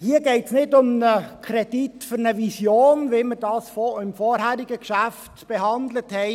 Hier geht es nicht um einen Kredit für eine Vision, wie wir dies beim vorherigen Geschäft behandelt haben.